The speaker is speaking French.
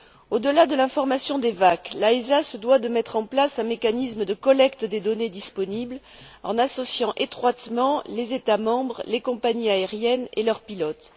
Au delà de l'information des VAC, l'AESA se doit de mettre en place un mécanisme de collecte des données disponibles en associant étroitement les États membres, les compagnies aériennes et leurs pilotes.